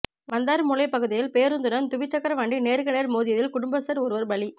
வந்தாறுமூலை பகுதியில் பேருந்துடன் துவிச்சக்கர வண்டி நேருக்கு நேர் மோதியதில் குடும்பஸ்தர் ஒருவர் பலி